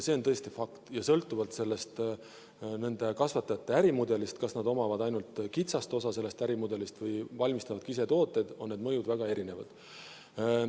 See on tõesti fakt ja sõltuvalt nende kasvatajate ärimudelist, kas nad omavad ainult kitsast osa sellest ärimudelist või valmistavad ka ise tooteid, on need mõjud väga erinevad.